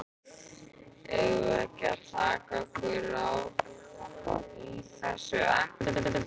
Eigum við ekki að taka okkur á í þessum efnum?